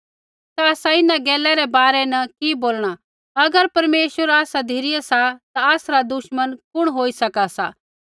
ता आसा इन्हां गैला रै बारै न कि बोलणा अगर परमेश्वर आसा धिरै सा ता आसरा दुश्मन कुण होई सका सा